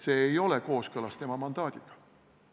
See ei ole kooskõlas tema mandaadiga.